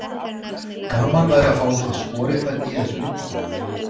Gaman væri að fá úr því skorið hvernig í þessu liggur.